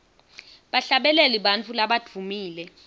bahlabeleli bantfu labadvumile